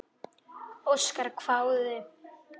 Óskar hváði.